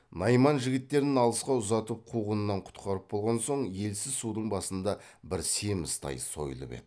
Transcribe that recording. найман жігіттерін алысқа ұзатып қуғыннан құтқарып болған соң елсіз судың басында бір семіз тай сойылып еді